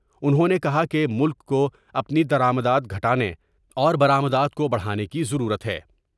انہوں نے کہا کہ ملک کو اپنی درآمدات گھٹانے اور برآمدات کو بڑھانے کی ضرورت ہے ۔